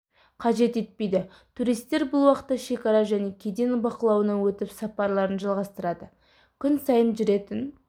қажет етпейді туристер бұл уақытта шекара және кеден бақылауынан өтіп сапарларын жалғастырады күн сайын жүретін